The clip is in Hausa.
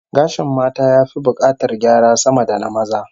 Gashin mata ya fi bukatar gyara sama da na maza